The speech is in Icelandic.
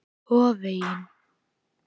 Og á vegginn.